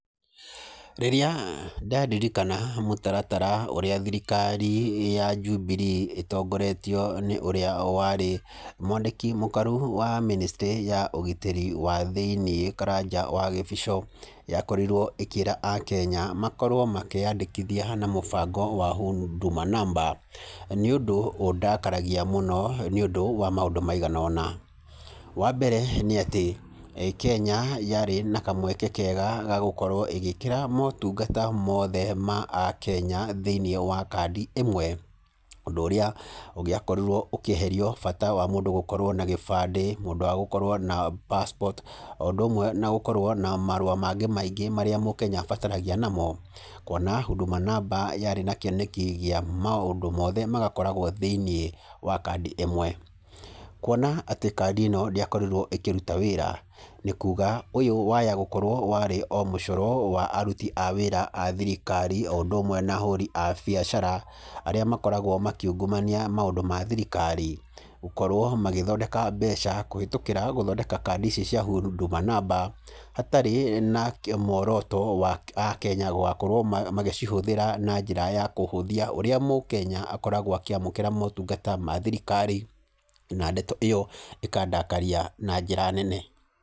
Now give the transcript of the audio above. Rĩrĩa ndaririkana mũtaratara ũrĩa thirikari ya Jubilee ĩtongoretio nĩ ũrĩa warĩ mwandĩki mũkarũhu wa Ministry ya ũgitĩri wa thĩiniĩ, Karanja wa Gĩbico, yakorirwo ĩkĩra akenya makorwo makĩandĩkithia na mũbango wa Huduma Number. Nĩ ũndũ ũndakaragia mũno nĩ ũndũ wa maũndũ maigana ũna. Wa mbere, nĩ atĩ Kenya yarĩ na kamweke kega ga gũkorwo ĩgĩĩkĩra motungata mothe ma akenya thĩiniĩ wa kandi ĩmwe. Ũndũ ũrĩa ũngĩeheririe bata wa mũndũ gũkorwo na gĩbandĩ, ũndũ wa gũkorwo na passport o ũndũ ũmwe na gũkorwo na marũa mangĩ maingĩ marĩa mũkenya abataragia namo. Kuona Huduma Number yarĩ na kĩoneki kĩa maũndũ mothe magakoragwo thĩiniĩ wa kandi ĩmwe. Kuona atĩ kandi ĩno ndĩakorirwo ĩkĩruta wĩra, nĩ kuuga ũyũ waya gũkorwo warĩ o mũcoro wa aruti a wĩra a thirikari o ũndũ ũmwe na ahũri a biacara arĩa makoragwo makĩungumania maũndũ ma thirikari. Gũkorwo magĩthondeka mbeca kũhĩtũkĩra gũthondeka kandi icio cia Huduma Number, hatarĩ na muoroto wa akenya gũgakorwo magĩcihũthĩra na njĩra ya kũhũthia ũrĩa mũkenya akoragwo akĩamũkĩra motungata ma thirikari. Na ndeto ĩyo ĩkandakaria na njĩra nene.